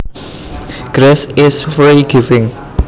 Grace is free giving